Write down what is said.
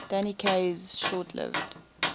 danny kaye's short lived